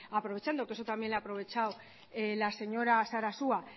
aprovechando que eso también lo ha aprovechado la señora sarasua